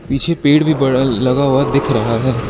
पीछे पेड़ भी बड़ा लगा हुआ दिख रहा है।